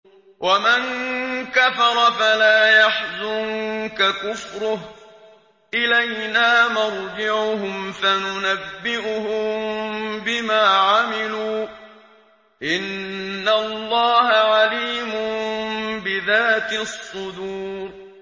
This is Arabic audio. وَمَن كَفَرَ فَلَا يَحْزُنكَ كُفْرُهُ ۚ إِلَيْنَا مَرْجِعُهُمْ فَنُنَبِّئُهُم بِمَا عَمِلُوا ۚ إِنَّ اللَّهَ عَلِيمٌ بِذَاتِ الصُّدُورِ